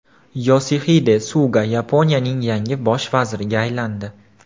Yosixide Suga Yaponiyaning yangi bosh vaziriga aylandi.